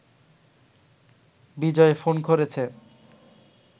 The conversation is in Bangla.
বিজয় ফোন করেছে